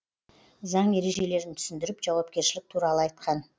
заң ережелерін түсіндіріп жауапкершілік туралы айтқан